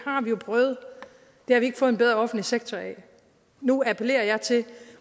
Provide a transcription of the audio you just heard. har vi ikke fået en bedre offentlig sektor af nu appellerer jeg til